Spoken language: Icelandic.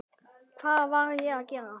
Hvað var ég að gera.?